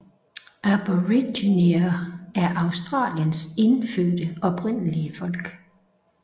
Aboriginere er Australiens indfødte oprindelige folk